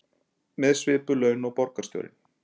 Með svipuð laun og borgarstjórinn